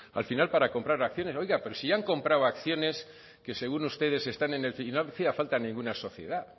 al final para comprar acciones oiga pero sí ya han comprado acciones que según ustedes están en el y no hacía falta ninguna sociedad